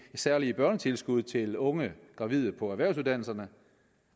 særlige børnetilskud til unge gravide på erhvervsuddannelserne